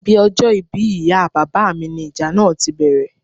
Ibi ọjọ́ ìbí ìyá bàbá mi ní ìjà náà tí bẹ̀rẹ̀